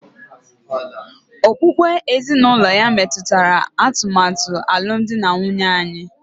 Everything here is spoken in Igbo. Okpukpe ezinụlọ ya metụtara atụmatụ alụmdi na nwunye anyị